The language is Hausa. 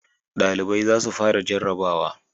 Dalibai za su fara jarrabawa